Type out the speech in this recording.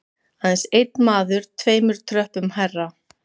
Aðeins einn maður tveimur tröppum hærra.